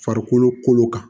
Farikolo kolo kan